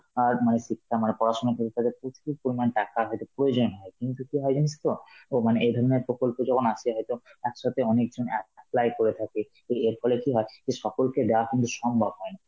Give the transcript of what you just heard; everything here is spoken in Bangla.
আ মানে শিক্ষা~ মানে পড়াশোনা প্রচুর পরিমাণ টাকার হয়তো প্রয়োজন হয়, কিন্তু কি হয় জানিস তো ও মানে এই ধরনের প্রকল্প যখন আসে, হয়তো একসাথে অনেক জন অ্যাঁ এ~ apply করে থাকে, তো এর ফলে কি হয় যে সকলকে দেওয়া কিন্তু সম্ভব হয় না.